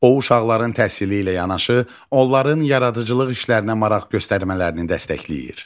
O uşaqların təhsili ilə yanaşı, onların yaradıcılıq işlərinə maraq göstərmələrini dəstəkləyir.